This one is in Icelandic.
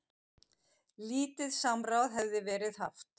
Lítið samráð hefði verið haft.